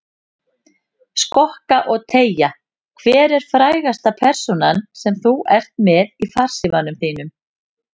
Skokka og teygja Hver er frægasta persónan sem þú ert með í farsímanum þínum?